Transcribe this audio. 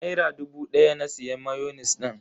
Naira dubu daya na siya mayonis din.